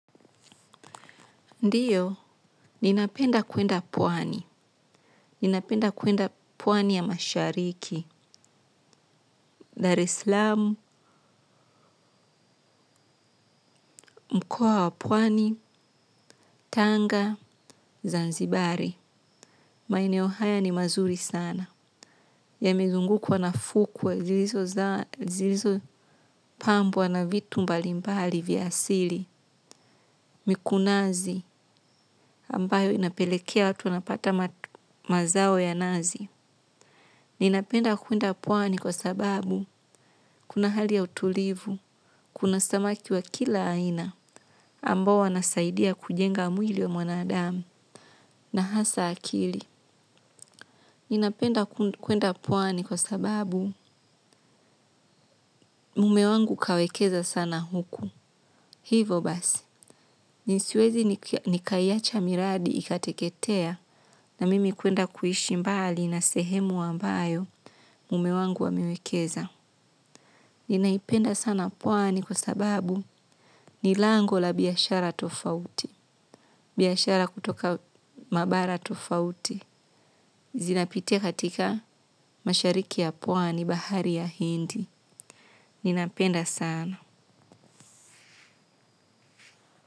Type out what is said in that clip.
Ndiyo, ninapenda kuenda pwani. Ninapenda kuenda puwani ya mashariki. Dareslamu, mkoa wa puwani, tanga, zanzibari. Maeneo haya ni mazuri sana yamezungukwa na fukwe zilizopambwa na vitu mbalimbali za asili mikunazi ambayo inapelekea watu wanapata mazao ya nazi. Ninapenda kuenda pwani kwa sababu kuna hali ya utulivu, kuna samaki wa kila aina ambao wanasaidia kujenga mwili wa mwanadamu na hasa akili. Ninapenda kuenda pwani kwa sababu mume wangu kawekeza sana huku. Hivo basi, ni siwezi nikaiacha miradi ikateketea na mimi kuenda kuishi mbali na sehemu ambayo mume wangu amewekeza. Ninaipenda sana pwani kwa sababu ni lango la biashara tofauti. Biyashara kutoka mabara tofauti. Zinapitia katika mashariki ya pwani bahari ya hindi. Ninapenda sana.